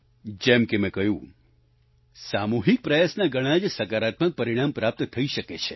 જેમ કે મેં કહ્યું સામૂહિક પ્રયાસના ઘણા જ સકારાત્મક પરિણામ પ્રાપ્ત થઈ શકે છે